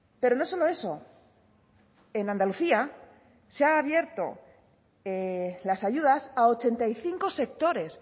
pero no solo eso en andalucía se ha abierto las ayudas a ochenta y cinco sectores